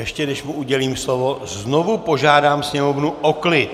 Ještě než mu udělím slovo, znovu požádám sněmovnu o klid!